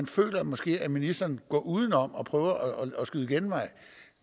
føler måske at ministeren går udenom og prøver at skyde genvej